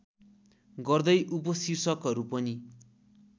गर्दै उपशीर्षकहरू पनि